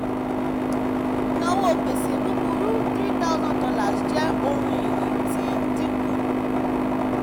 ìnáwó gbèsè búburú hree thousand dollars jẹ́ ohun ìní tí ń dínkù.